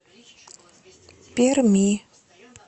перми